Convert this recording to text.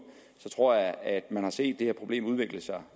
tror jeg at man har set det her problem udvikle sig